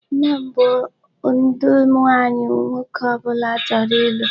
Nne m bụ ụdị nwaanyị nwoke ọbụla chọrọ ịlụ.